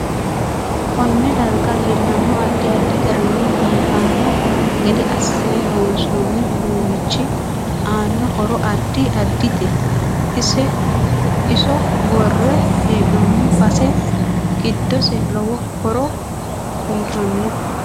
Konne darga leelanno addi addi garinni biifanno gede assine loonsooni uduunichi aanno horo addi addite iso worre heenooni base giddose lowo horo uyiitanno